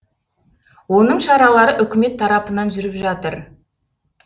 оның шаралары үкімет тарапынан жүріп жатыр